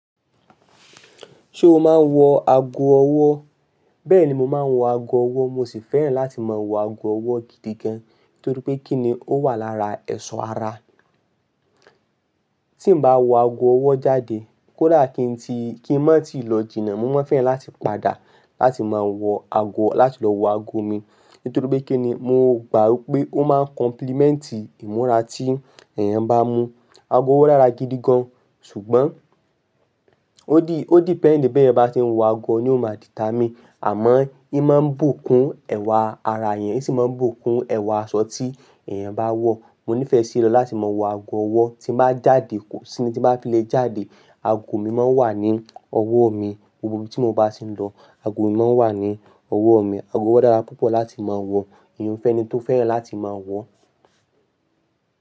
Ṣé o máa ń wọ ago ọwọ́? Bẹ́ẹ̀ ni mo máa ń wọ ago ọwọ́, mo sì fẹ́ràn láti máa wọ ago ọwọ́ gidi gan, nítorí pé kí ni ó wà lára ẹ̀ṣọ́ ara. Tí mo bá wọ ago ọwọ́ jáde, kódà kín ti, kí ń má tí ì lọ jìnnà, mo máa fẹ́ràn láti padà láti máa wọ ago, láti lọ wọ ago mi. Nítorí pé kí ni, mo gbà pé ó máa ń compliment ìmúra tí èèyàn bá mú. Ago ọwọ́ dára gidi gan, ṣùgbọ́n ó di, ó depend bí ẹ̀yin bá ṣe ń wọ ago ni ó máa di ta mí. Àmọ́ ìmá ń bùkún ẹwà ara ẹ̀yàn, ó sì máa ń bùkún ẹwà aṣọ tí èèyàn bá wọ̀. Mo nífẹ sí lọ láti máa wọ ago ọwọ́ tí m bá jáde, kò sí ni, tí bá fi lè jáde, ago mi máa ń wà ní ọwọ́ mi, gbogbo ibi tí mo bá ṣe ń lọ, ago mi máa ń wà ní ọwọ́ mi. Ago ọwọ́ dára púpọ̀ láti máa wọ̀, ìyiun fẹ́ ẹni tó fẹ́ràn láti máa wọ̀.